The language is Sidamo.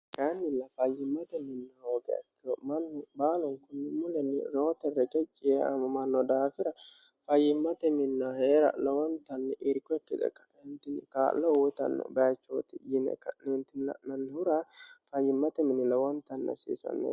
kaannilla fayyimmate minni hoogiha ikkiro mannu baalunkunni mulenni reyoote reqecci yee aamamanno daafira fayimmate minna hee'ra lowoontanni irko ikkite ka"eentinni kaa'lo uyitanno bayichooti yine ka'neenti la'nanihura fayyimmate mini lowoontanni hasiisanno